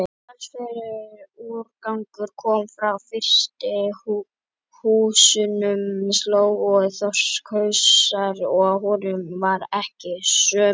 Talsverður úrgangur kom frá frystihúsunum, slóg og þorskhausar, og honum var ekið sömu leið.